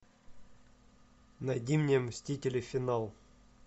найди мне мстители финал